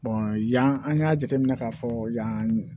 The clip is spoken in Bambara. yan an y'a jateminɛ ka fɔ yan